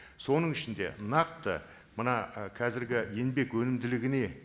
соның ішінде нақты мына і қазіргі еңбек өнімділігіне